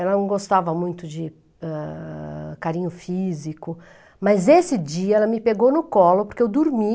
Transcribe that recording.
Ela não gostava muito de, ãh, carinho físico, mas esse dia ela me pegou no colo porque eu dormi.